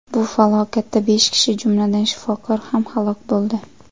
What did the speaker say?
Bu falokatda besh kishi, jumladan, shifokor ham halok bo‘ldi.